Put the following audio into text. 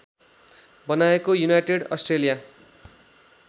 बनाएको United Australia